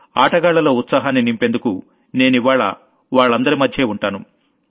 ఆటగాళ్లలో ఉత్సాహాన్ని నింపేందుకు నేనివ్వాళ్ల వాళ్లందరి మధ్యే ఉంటాను